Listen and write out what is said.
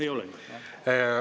Ei ole?